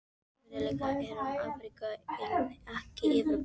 Landfræðilega tilheyrum við Amríku en ekki Evrópu.